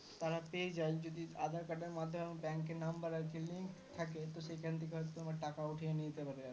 তারা পেয়ে যায় যদি aadhar card এর মাধ্যমে bank number আরকি link থাকে তো সেখান থেকে হয়তো তোমার টাকা উঠিয়ে নিয়ে যেতে পারে